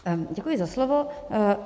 Děkuji za slovo.